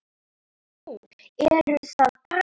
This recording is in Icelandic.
Nú, eruð það bara þið